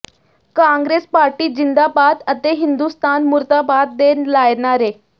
Congress party ਜ਼ਿੰਦਾਬਾਦ ਅਤੇ ਹਿੰਦੁਸਤਾਨ ਮੁਰਦਾਬਾਦ ਦੇ ਲਾਏ ਨਾਅਰੇ